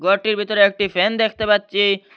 ঘরটির ভিতরে একটি ফ্যান দেখতে পাচ্ছি।